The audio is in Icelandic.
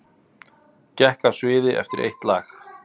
Gekk af sviði eftir eitt lag